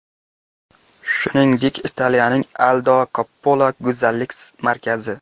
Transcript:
Shuningdek Italiyaning Aldo Coppola go‘zallik markazi.